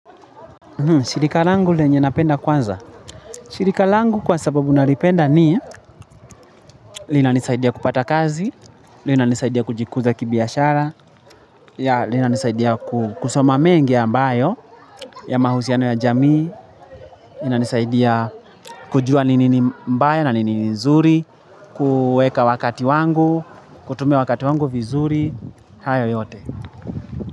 Shirika langu lenye napenda kwanza. Shirika langu kwa sababu nalipenda ni linanisaidia kupata kazi, linanisaidia kujikuza kibiashara, linanisaidia kusoma mengi ambayo, ya mahusiano ya jamii. Linanisaidia kujua nini mbaya na nini nzuri, kuweka wakati wangu, kutumia wakati wangu vizuri, hayo yote.